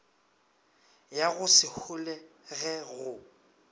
ya go se holege go